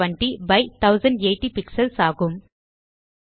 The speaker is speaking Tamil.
1920 பை 1080 பிக்ஸல்ஸ் ஆகும்